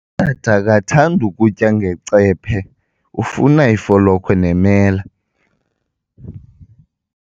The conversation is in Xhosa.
Utata akathandi kutya ngecephe, ufuna ifolokhwe nemela.